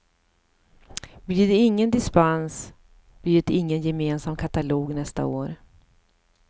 Blir det ingen dispens blir det ingen gemensam katalog nästa år.